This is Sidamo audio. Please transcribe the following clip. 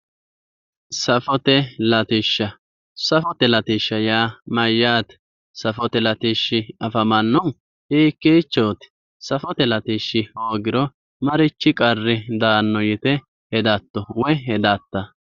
Safote latishsha, safote atishsha yaa mayyaate? Safote latishshi afamannohu hiikkiichooti? Safote latishshi hoogiro marichi qarri daanno yite hedatto? Woy hedatta?